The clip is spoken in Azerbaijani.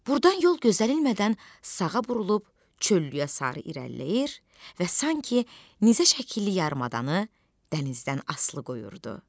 Burdan yol gözlənilmədən sağa burulub çöllüyə sarı irəliləyir və sanki nizəşəkilli yarımadanı dənizdən asılı qoyurdu.